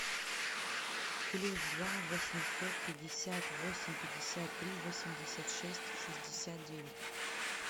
плюс два восемьсот пятьдесят восемь пятьдесят три восемьдесят шесть шестьдесят девять